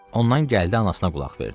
Ondan gəldi anasına qulaq verdi.